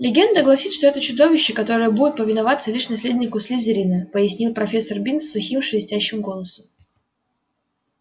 легенда гласит что это чудовище которое будет повиноваться лишь наследнику слизерина пояснил профессор бинс сухим шелестящим голосом